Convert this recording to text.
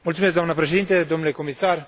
Mulțumesc doamnă președinte, domnule comisar.